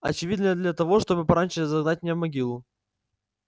очевидно для того чтобы пораньше загнать меня в могилу